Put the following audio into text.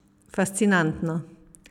Fascinantno!